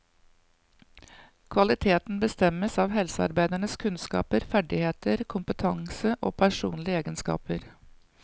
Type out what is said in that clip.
Kvaliteten bestemmes av helsearbeidernes kunnskaper, ferdigheter, kompetanse og personlige egenskaper.